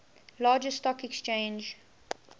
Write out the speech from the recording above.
largest stock exchange